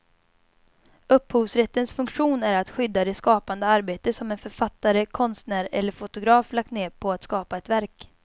Upphovsrättens funktion är att skydda det skapande arbete som en författare, konstnär eller fotograf lagt ned på att skapa ett verk.